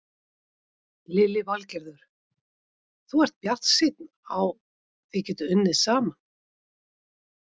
Lillý Valgerður: Þú ert bjartsýnn á þið getið unnið saman?